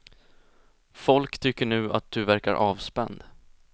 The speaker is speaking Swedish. Folk tycker nu att du verkar avspänd.